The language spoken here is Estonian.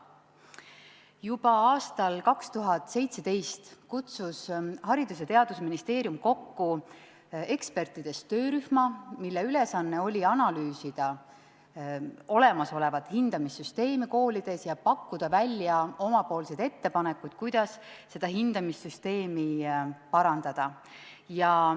Juba aastal 2017 kutsus Haridus- ja Teadusministeerium kokku ekspertide töörühma, mille ülesanne oli analüüsida olemasolevat hindamissüsteemi koolides ja pakkuda välja ettepanekuid, kuidas hindamissüsteemi parandada.